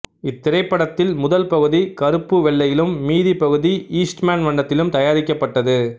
இத்திரைப்படத்தில் முதல் பகுதி கருப்புவெள்ளையிலும் மீதிப் பகுதி ஈஸ்ட்மன் வண்ணத்திலும் தயாரிக்கப்பட்டது